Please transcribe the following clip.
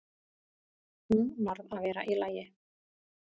Hún varð að vera í lagi.